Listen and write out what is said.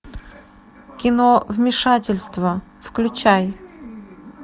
кино вмешательство включай